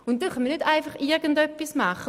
Man kann also nicht einfach irgendetwas machen.